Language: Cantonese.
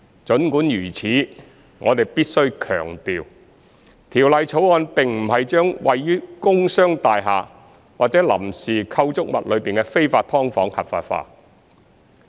儘管如此，我們必須強調，《條例草案》並不是將位於工商大廈或臨時構築物內的非法"劏房""合法化"。